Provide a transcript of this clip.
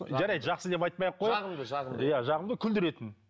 жарайды жақсы деп айтпай ақ қояйық жағымды жығымды иә жағымды күлдіретін